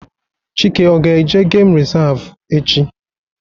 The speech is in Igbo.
Chike ọ ga-eje geem resavu echi?